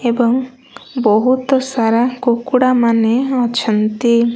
ଏବଂ ବହୁତ ସାରା କୁକୁଡ଼ା ମାନେ ଅଛନ୍ତି।